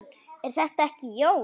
Er það ekki, Jón?